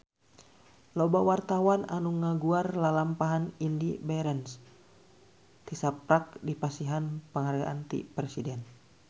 Loba wartawan anu ngaguar lalampahan Indy Barens tisaprak dipasihan panghargaan ti Presiden